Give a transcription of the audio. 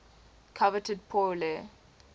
coveted pour le